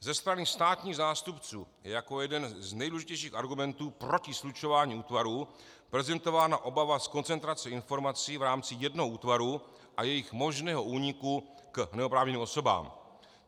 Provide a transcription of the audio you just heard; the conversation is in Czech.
Ze strany státních zástupců je jako jeden z nejdůležitějších argumentů proti slučování útvarů prezentována obava z koncentrace informací v rámci jednoho útvaru a jejich možného úniku k neoprávněným osobám.